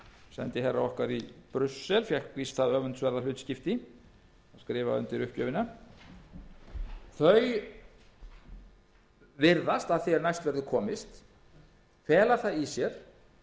sendiherra okkar í brussel fékk víst það öfundsverða hlutskipti að skrifa undir uppgjöfina þau viðmið virðast að því er næst verður komist fela það í sér